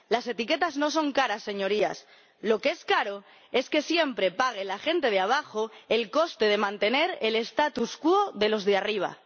Las etiquetas no son caras, Señorías, lo que es caro es que siempre pague la gente de abajo el coste de mantener el statu quo de los de arriba.